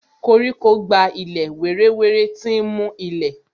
Koríko gba ilẹ̀ wéré wéré, tí ń mú ilẹ̀